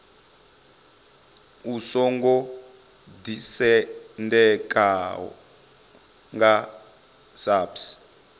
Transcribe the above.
u songo ḓisendekaho nga saps